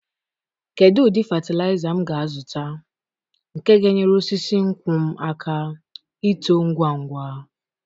Kedu ụdị fatịlaịza m ga-azụta nke ga-enyere osisi nkwụ m aka ito ngwa ngwa?